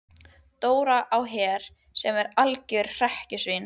Dóra á Her sem var algjört hrekkjusvín.